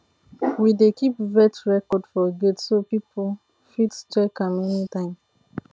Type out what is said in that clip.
we dey keep vet record for gate so people fit check am anytime